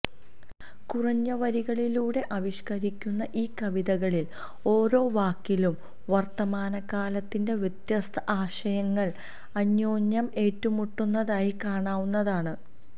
കുറഞ്ഞ വരികളിലൂടെ ആവിഷ്ക്കരിക്കുന്ന ഈ കവിതകളിൽ ഓരോ വാക്കിലും വർത്തമാനകാലത്തിന്റെ വ്യത്യസ്ത ആശയങ്ങൾ അന്യോന്യം ഏറ്റുമുട്ടുന്നതായി കാണാവുന്നതാണ്